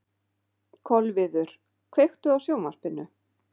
Kolviður, kveiktu á sjónvarpinu.